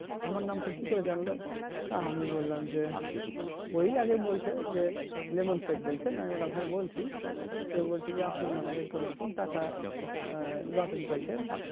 আমার নামটা কি করে জানলেও তা আমি বললাম যে ওই আগে বলছে যে লেবুন সেখ বলছেন আমি বললাম হ্যাঁ বলছি তো আপনার নামে এই রকম এই রকম টাকা lottery পাইছেন